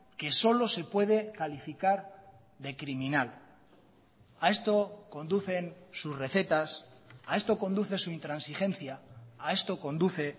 que solo se puede calificar de criminal a esto conducen sus recetas a esto conduce su intransigencia a esto conduce